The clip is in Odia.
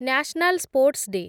national sports day